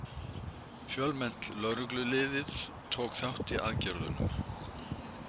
Fjölmennt lögreglulið tók þátt í aðgerðunum